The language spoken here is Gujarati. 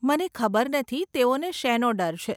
મને ખબર નથી તેઓને શેનો ડર છે?